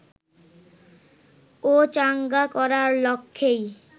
ও চাঙ্গা করার লক্ষ্যেই